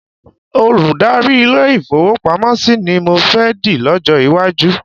Olùdarí ilé-ìfowópamọ́sí ni mọ fẹ́ di lọ́jọ́ iwájú.